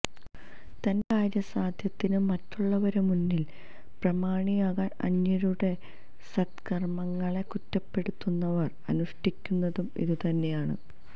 തന്റെ കാര്യസാധ്യത്തിന് മറ്റുള്ളവരുടെ മുന്നിൽ പ്രമാണിയാകാൻ അന്യരുടെ സത്കർമങ്ങളെ കുറ്റപ്പെടുത്തുന്നവർ അനുഷ്ഠിക്കുന്നതും ഇതു തന്നെയാണ്